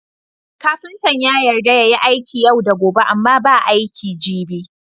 Kafintan ya yarda yayi aiki yau da gobe Amma ba aiki gibi